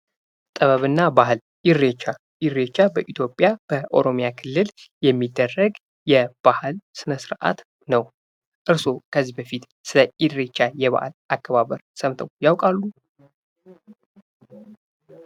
ጥበብና በዓል እሬቻ እሬቻ በኢትዮጵያ በኦሮሚያ ክልል የሚደረግ የባህል ስነ- ስርዓት ነው ።እርስዎ ከዚህ በፊት ስለ እሬቻ የበዓል አከባበር ሰምተው ያውቃሉ?